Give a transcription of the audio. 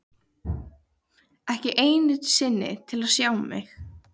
Ekki einu sinni til að sjá mig.